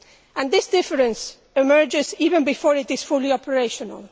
And this difference emerges even before it is fully operational.